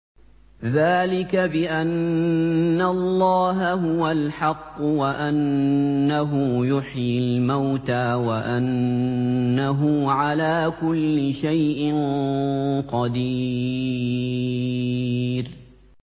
ذَٰلِكَ بِأَنَّ اللَّهَ هُوَ الْحَقُّ وَأَنَّهُ يُحْيِي الْمَوْتَىٰ وَأَنَّهُ عَلَىٰ كُلِّ شَيْءٍ قَدِيرٌ